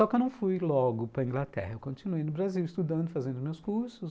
Só que eu não fui logo para a Inglaterra, eu continuei no Brasil estudando, fazendo meus cursos.